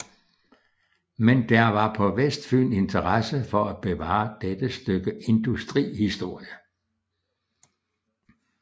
Men der var på Vestfyn interesse for at bevare dette stykke industrihistorie